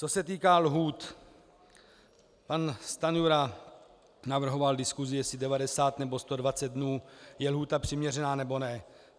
Co se týká lhůt, pan Stanjura navrhoval diskusi, jestli 90 nebo 120 dnů je lhůta přiměřená, nebo ne.